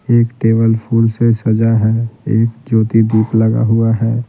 एक टेबल फूल से सजा है एक ज्योति दीप लगा हुआ है।